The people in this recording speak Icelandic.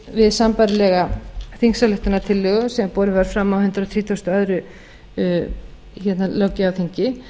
við sambærilega þingsályktunartillögu sem borin var fram á hundrað þrítugasta og öðrum löggjafarþingi